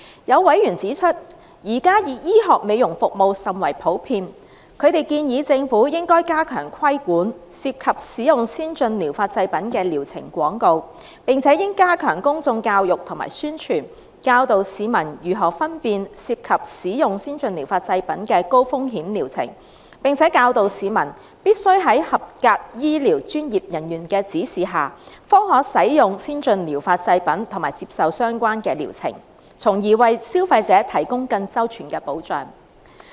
有委員指出，現時醫學美容服務甚為普遍，他們建議政府應加強規管，涉及使用先進療法製品的療程廣告，並且應加強公眾教育和宣傳，教導市民如何分辨涉及使用先進療法製品的高風險療程，並且教導市民必須在合資格醫療專業人員的指示下，方可使用先進療法製品及接受相關的療程，從而為消費者提供更周全的保障。